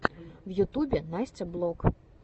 в ютюбе настя блог